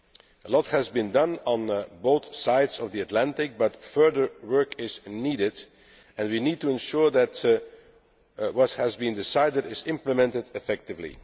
A lot has been done on both sides of the Atlantic, but further work is needed, and we need to ensure that what has been decided is implemented effectively.